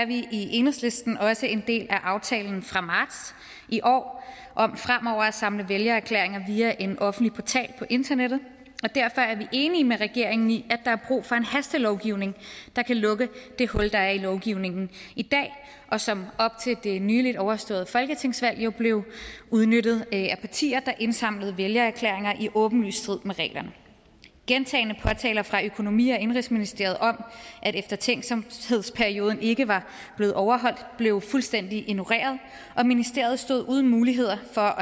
i enhedslisten også en del af aftalen fra marts i år om fremover at samle vælgererklæringer via en offentlig portal på internettet og derfor er vi enige med regeringen i at der er brug for en hastelovgivning der kan lukke det hul der er i lovgivningen i dag og som op til det nylig overståede folketingsvalg jo blev udnyttet af partier der indsamlede vælgererklæringer i åbenlys strid med reglerne gentagne påtaler fra økonomi og indenrigsministeriet om at eftertænksomhedsperioden ikke var blevet overholdt blev fuldstændig ignoreret og ministeriet stod uden muligheder for